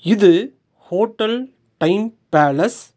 இது hotel time palace .